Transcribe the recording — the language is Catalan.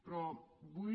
però vull